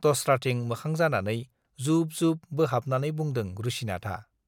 दस्राथिं मोखां जानानै जुब-जुब बोहाबनानै बुंदों रुसिनाथआ।